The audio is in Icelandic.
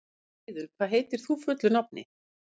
Eiðunn, hvað heitir þú fullu nafni?